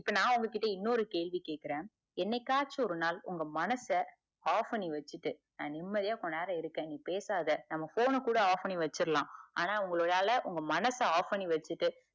இப்ப நா உங்க கிட்ட இன்னொரு கேள்வி கேக்குற என்னைக்காச்சும் ஒரு நாள் உங்க மனச off பண்ணி வச்சிட்டு நா நிம்மதியா கொஞ்ச நேரம் இருக்க பேசாத நம்ம phone ன கூட off பண்ணிவச்சிடலா ஆனா உங்களால உங்க மனச off பண்ணி வச்சிட்டு